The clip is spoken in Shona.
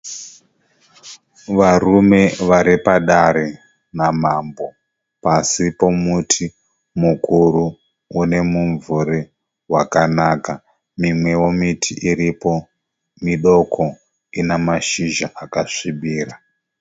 Varume vari padare namambo pasi pomuti mukuru une mumvuri wakanaka. Mimwewo miti iripo midoko ine mashizha akasvibira.